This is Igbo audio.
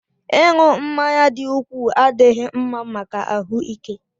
Ịṅụ mmanya dị ukwuu adịghị mma maka ahụ ike